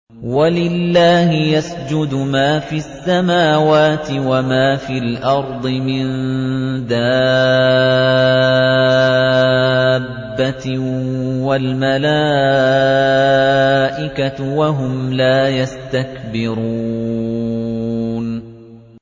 وَلِلَّهِ يَسْجُدُ مَا فِي السَّمَاوَاتِ وَمَا فِي الْأَرْضِ مِن دَابَّةٍ وَالْمَلَائِكَةُ وَهُمْ لَا يَسْتَكْبِرُونَ